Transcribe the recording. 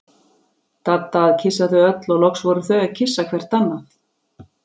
Dadda að kyssa þau öll og loks fóru þau að kyssa hvert annað.